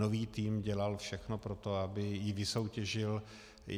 Nový tým dělal všechno pro to, aby ji vysoutěžil.